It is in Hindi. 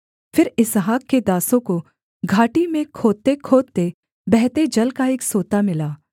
फिर इसहाक के दासों को घाटी में खोदतेखोदते बहते जल का एक सोता मिला